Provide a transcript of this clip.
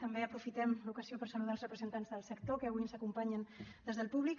també aprofitem l’ocasió per saludar els representants del sector que avui ens acompanyen des del públic